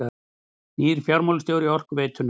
Nýr fjármálastjóri Orkuveitunnar